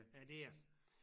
Ja det er det